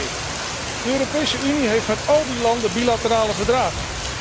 Ten tweede, de Europese Unie heeft met al die landen bilaterale verdragen.